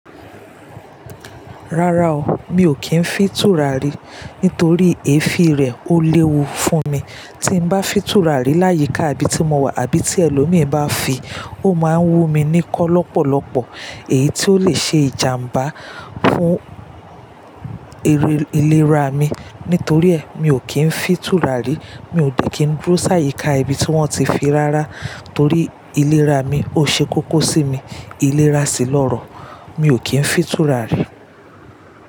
Rárá o, mi ò kí ń fi tùràrí nítorí èéfín rẹ̀ ó léwu fún mi. Tí n bá fi tùràrí láyíká ibi tí mo wà àbí tí ẹlòmíí bá fi, ó má ń wú mi kọ́ lọ́pọ̀lọpọ̀ èyí tó lè ṣe ìjàmbá fún ìlera mi. Nítorí ẹ mi ò kí ń fi tùràrí, mi ò dẹ̀ kí ń dúró sáyíká ibi tí wọ́n ti fi rárá torí ìlera mi ó ṣe kókó sí mi. Ìlera sì lọ́rọ̀, mi ò kí ń fi tùràrí.